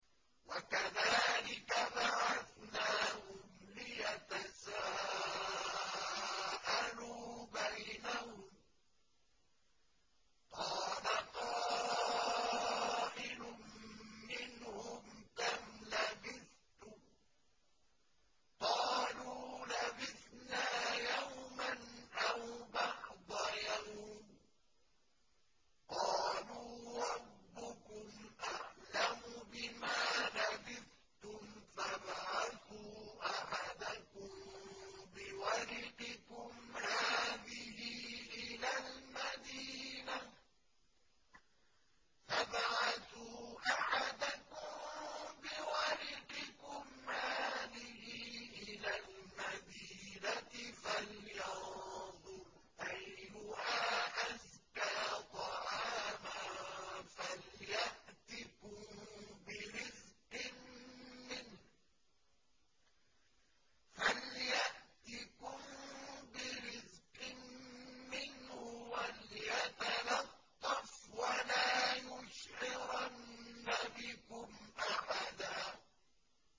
وَكَذَٰلِكَ بَعَثْنَاهُمْ لِيَتَسَاءَلُوا بَيْنَهُمْ ۚ قَالَ قَائِلٌ مِّنْهُمْ كَمْ لَبِثْتُمْ ۖ قَالُوا لَبِثْنَا يَوْمًا أَوْ بَعْضَ يَوْمٍ ۚ قَالُوا رَبُّكُمْ أَعْلَمُ بِمَا لَبِثْتُمْ فَابْعَثُوا أَحَدَكُم بِوَرِقِكُمْ هَٰذِهِ إِلَى الْمَدِينَةِ فَلْيَنظُرْ أَيُّهَا أَزْكَىٰ طَعَامًا فَلْيَأْتِكُم بِرِزْقٍ مِّنْهُ وَلْيَتَلَطَّفْ وَلَا يُشْعِرَنَّ بِكُمْ أَحَدًا